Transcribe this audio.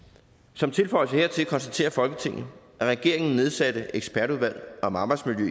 som tilføjelse hertil konstaterer folketinget at regeringens nedsatte ekspertudvalg om arbejdsmiljø